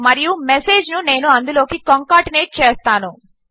మరియు మెసేజ్ ను నేను అందులోకి కంకాటినేట్ చేస్తాను